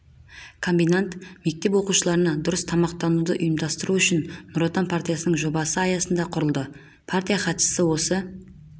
комбинат мектеп оқушыларына дұрыс тамақтануды ұйымдастыру үшін нұр отан партиясының жобасы аясында құрылды партия хатшысы осы